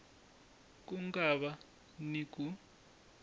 ku nga va ni ku